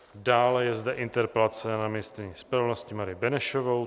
Dále je zde interpelace na ministryni spravedlnosti Marii Benešovou.